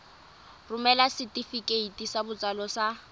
romela setefikeiti sa botsalo sa